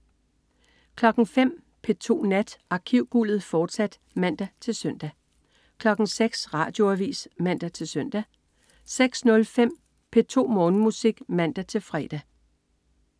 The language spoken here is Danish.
05.00 P2 Nat. Arkivguldet, fortsat (man-søn) 06.00 Radioavis (man-søn) 06.05 P2 Morgenmusik (man-fre)